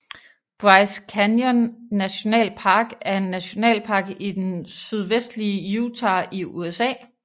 Bryce Canyon National Park er en nationalpark i den sydvestlige Utah i USA